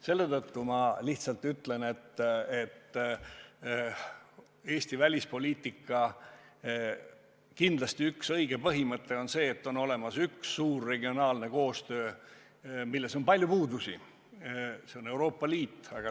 Selle tõttu ma lihtsalt ütlen, et Eesti välispoliitika üks õige põhimõte on see, et on olemas üks suur regionaalne koostöövorm, milles on küll palju puudusi, ja see on Euroopa Liit.